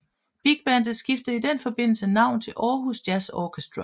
Bigbandet skiftede i den forbindelse navn til Aarhus Jazz Orchestra